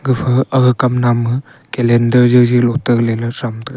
efu kam nap ma calendar jow jow loh .]